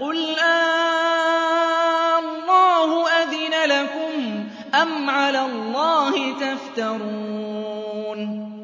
قُلْ آللَّهُ أَذِنَ لَكُمْ ۖ أَمْ عَلَى اللَّهِ تَفْتَرُونَ